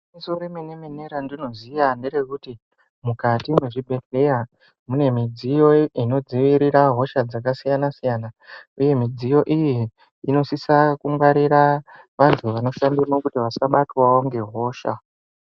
Gwinyiso remene-mene randinoziya nerekuti mukati mwezvibhehleya mune midziyo inodzivirira hosha dzakasiyana-siyana uye midziyo iyi inosisa kungwarira vantu vanoshandemo kuti vasabatwawo ngehosha.